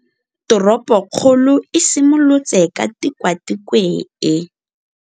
Toropokgolo e simolotse ka Tikwatikwe e e.